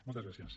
moltes gràcies